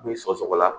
Ni sɔgɔsɔgɔ la